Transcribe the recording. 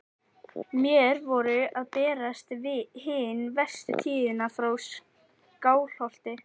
Mér voru að berast hin verstu tíðindi frá Skálholti.